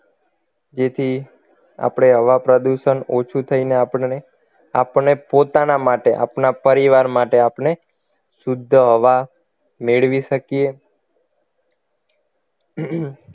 જેથી આપણે હવા પ્રદુષણ ઓછું થઈને આપને આપણને પોતાના માટે આપણા પરિવાર માટે આપણે શુદ્ધ હવા મેળવી શકીએ